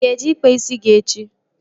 Ị ga-eje kpaa isi gị echi?